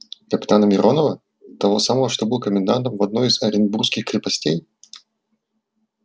капитана миронова того самого что был комендантом в одной из оренбургских крепостей